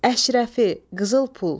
Əşrəfi, qızıl pul.